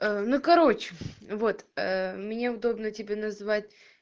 ну короче вот мне удобно тебе называть